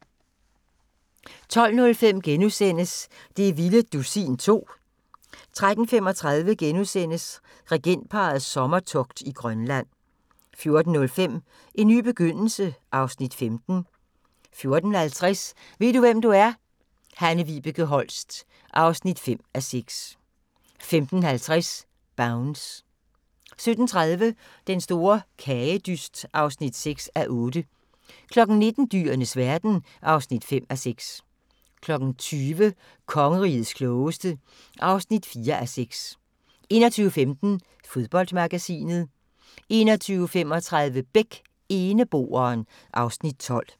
12:05: Det vilde dusin 2 * 13:35: Regentparrets sommertogt i Grønland * 14:05: En ny begyndelse (Afs. 15) 14:50: Ved du, hvem du er? - Hanne-Vibeke Holst (5:6) 15:50: Bounce 17:30: Den store bagedyst (6:8) 19:00: Dyrenes verden (5:6) 20:00: Kongerigets klogeste (4:6) 21:15: Fodboldmagasinet 21:35: Beck: Eneboeren (Afs. 12)